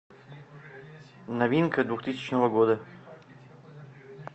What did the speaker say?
новинка двухтысячного года